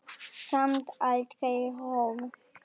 Samt aldrei hörð.